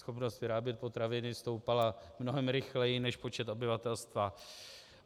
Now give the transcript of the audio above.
Schopnost vyrábět potraviny stoupala mnohem rychleji než počet obyvatelstva.